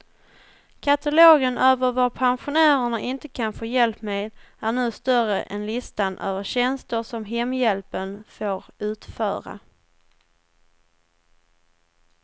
Katalogen över vad pensionärerna inte kan få hjälp med är nu större än listan över tjänster som hemhjälpen får utföra.